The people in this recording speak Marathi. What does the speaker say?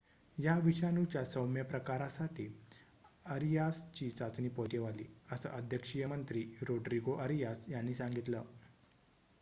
या विषाणूच्या सौम्य प्रकारासाठी अरियासची चाचणी पॉझिटिव्ह आली असं अध्यक्षीय मंत्री रोड्रीगो अरियास यांनी सांगितलं